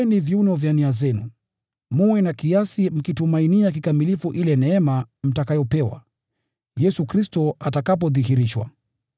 Kwa hiyo, tayarisheni nia zenu kwa kazi; mwe na kiasi, mkitumainia kikamilifu ile neema mtakayopewa Yesu Kristo atakapodhihirishwa.